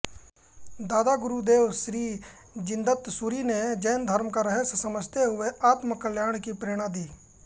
दादा गुरुदेव श्री जिनदत्तसूरि ने जैन धर्म का रहस्य समझाते हुए आत्मकल्याण की प्रेरणा दी